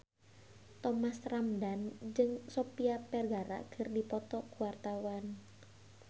Thomas Ramdhan jeung Sofia Vergara keur dipoto ku wartawan